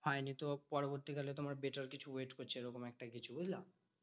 হয়নি তো পরবর্তীকালে তোমার better কিছু wait করছে এরকম একটা কিছু, বুঝলা?